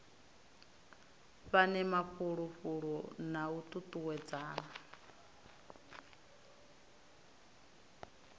fhane mafulufulo na u tutuwedzana